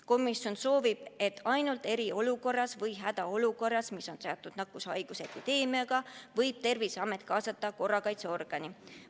Komisjon soovib, et ainult eriolukorras või hädaolukorras, mis on seatud nakkushaiguse epideemiaga, võib Terviseamet kaasata korrakaitseorgani.